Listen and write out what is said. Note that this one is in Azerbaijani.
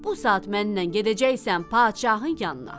Bu saat mənlə gedəcəksən padşahın yanına.